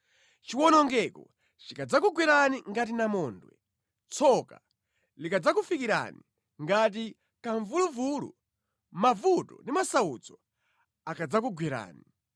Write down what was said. Chiwonongeko chikadzakugwerani ngati namondwe, tsoka likadzakufikirani ngati kamvuluvulu, mavuto ndi masautso akadzakugwerani.